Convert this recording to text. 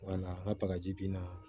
Wala ŋa bagaji binna